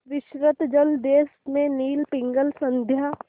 विस्तृत जलदेश में नील पिंगल संध्या